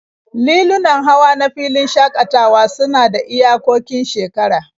Lilunan hawa na filin shakatawa suna da iyakokin shekara